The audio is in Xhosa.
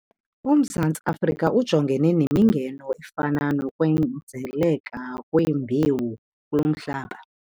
UMzantsi Afrika ujongene nemingeno efana nokwenzeleka kwembewu kulo mhlaba.